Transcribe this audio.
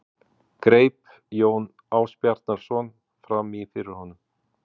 greip Jón Ásbjarnarson fram í fyrir honum.